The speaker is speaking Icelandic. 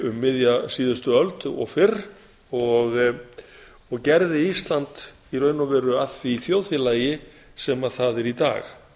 um miðja síðustu öld og fyrr og gerði ísland í raun og veru að því þjóðfélagi sem það er í dag